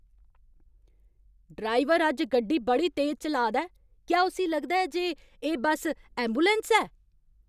Driver अज्ज गड्डी बड़ी तेज चलाऽ दा ऐ। क्या उस्सी लगदा ऐ जे एह् बस्स ऐंबुलैंस ऐ?